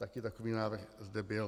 Taky takový návrh zde byl.